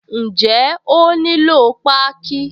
Ǹjẹ́ ó nílò páákí?